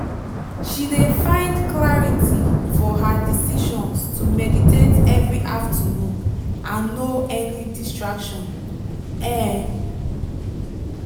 she de find clarity for her decisions to meditate every afternoon and no any distraction. um